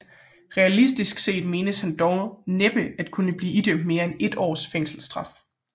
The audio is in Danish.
Realistisk set menes han dog næppe at kunne blive idømt mere end ét års fængselsstraf